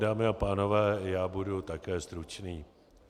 Dámy a pánové, já budu také stručný.